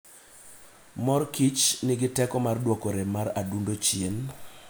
Mor Kichnigi teko mar duoko rem mar adundo chien.